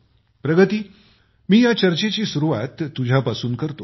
प्रगती मी या चर्चेची सुरूवात तुझ्यापासून करतो